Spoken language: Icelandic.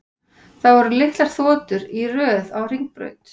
Það voru litlar þotur í röð á hringbraut.